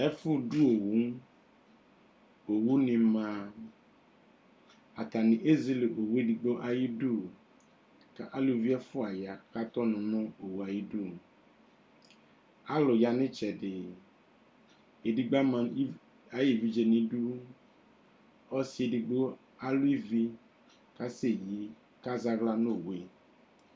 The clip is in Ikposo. Ɛfʋdʋ owu, owunɩ ma Atanɩ ezele uwo edigbo ayidu kʋ aluvi ɛfʋa ya kʋ atɛ ɔnʋ nʋ owu yɛ ayidu Alʋ ya nʋ ɩtsɛdɩ Edigbo ama uvi ayʋ evidze nʋ idu Ɔsɩ edigbo alʋ ivi kʋ asɛyi kʋ azɛ aɣla nʋ owu yɛ